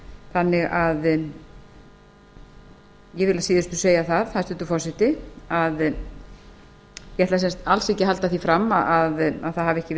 þannig að ég vil að síðustu segja það hæstvirtur forseti ég ætla sem sagt alls ekki að halda því fram að það hafi ekki verið